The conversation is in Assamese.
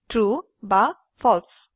ট্ৰু বা ফালছে